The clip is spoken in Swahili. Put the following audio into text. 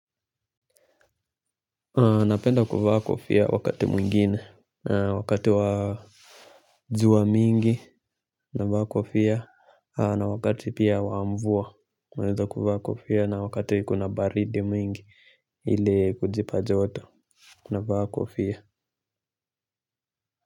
Napenda kuvaa kofia wakati mwingine, wakati wa jua mingi, navaa kofia, na wakati pia wa mvua, naweza kuvaa kofia, na wakati kuna baridi nyingi ili kujipa joto, navaa kofia.